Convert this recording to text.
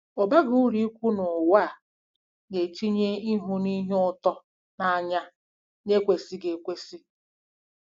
Ọ baghị uru ikwu na ụwa a na-etinye ‘ịhụ ihe ụtọ n’anya na-ekwesịghị ekwesị. '